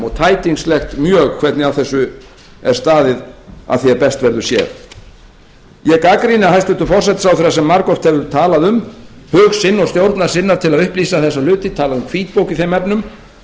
og tætingslegt mjög hvernig að þessu er staðið að því er best verður séð ég gagnrýni hæstvirtur forsætisráðherra sem margoft hefur talað um hug sinn og stjórnarsinna til að upplýsa þessa hluti talað um hvítbók í þeim efnum